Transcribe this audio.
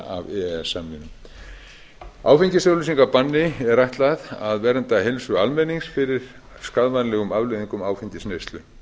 af e e s samningnum áfengisauglýsingabanni er ætlað að vernda heilsu almennings fyrir skaðvænlegum afleiðingum áfengisneyslu